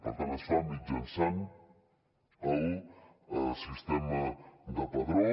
per tant es fa mitjançant el sistema de padró